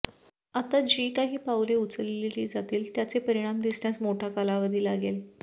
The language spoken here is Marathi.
आता जी काही पाउले उचलली जातील त्याचे परिणाम दिसण्यास मोठा कालावधी लागेल